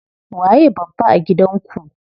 Waye babba a gidan ku?